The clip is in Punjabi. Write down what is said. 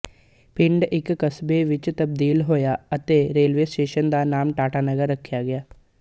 ਪਿੰਡ ਇੱਕ ਕਸਬੇ ਵਿੱਚ ਤਬਦੀਲ ਹੋਇਆ ਅਤੇ ਰੇਲਵੇ ਸਟੇਸ਼ਨ ਦਾ ਨਾਮ ਟਾਟਾਨਗਰ ਰੱਖਿਆ ਗਿਆ